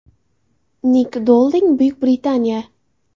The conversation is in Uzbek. Nik Dolding, Buyuk Britaniya.